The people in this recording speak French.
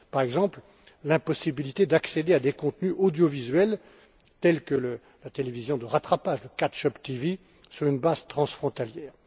par exemple, l'impossibilité d'accéder à des contenus audiovisuels tels que la télévision de rattrapage le catch up TV sur une base transfrontière.